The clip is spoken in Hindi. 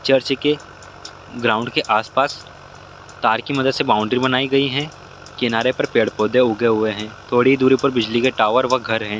चर्च के ग्राउंड के आस-पास तार के मदद से बाउंड्री बनाई गई हैं किनारे पे पेड़ पौधों उगे हुए हैं थोड़ी दूरी पे बिजली के टावर व घर है।